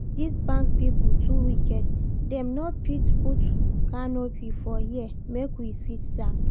This bank people too wicked, dem no fit put canopy for here make we sit down